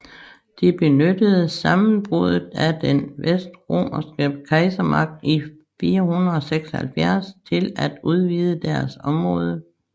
De benyttede sammenbruddet af den vestromerske kejsermagt i 476 til at udvide deres område